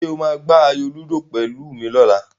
Ṣé o máa gbá ayò lúdò pẹ̀lú mi lọ́la?